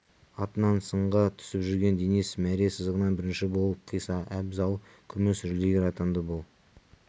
атынан сынға түсіп жүрген денис мәре сызығын бірінші болып қиса абзал күміс жүлдегер атанды бұл